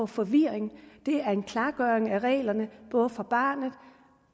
forvirring det er en klargøring af reglerne både for barnet